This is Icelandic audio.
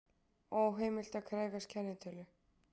Óheimilt að krefjast kennitölu